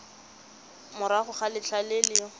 morago ga letlha le le